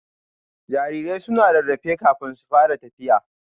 Jarirai suna rarrafe kafin su fara tafiya